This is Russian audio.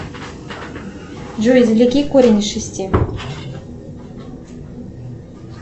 джой извлеки корень из шести